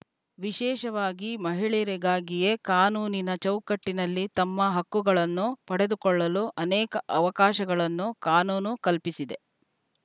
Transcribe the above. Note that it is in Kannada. ವಿಶೇಷವಾಗಿ ಮಹಿಳೆಯರಿಗಾಗಿಯೇ ಕಾನೂನಿನ ಚೌಕಟ್ಟಿನಲ್ಲಿ ತಮ್ಮ ಹಕ್ಕುಗಳನ್ನು ಪಡೆದುಕೊಳ್ಳಲು ಅನೇಕ ಅವಕಾಶಗಳನ್ನು ಕಾನೂನು ಕಲ್ಪಿಸಿದೆ